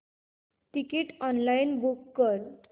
ticket online book कर